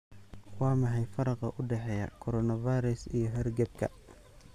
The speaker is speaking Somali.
Waa maxay faraqa u dhexeeya coronavirus iyo hargabka?